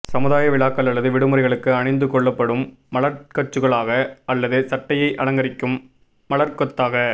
சமுதாய விழாக்கள் அல்லது விடுமுறைகளுக்கு அணிந்துகொள்ளப்படும் மலர்கச்சுக்களாக அல்லது சட்டையை அலங்கரிக்கும் மலர்கொத்தாக